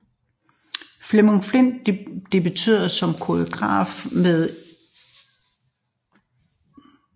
Flemming Flindt debuterede som koreograf med Eugène Ionescos Enetime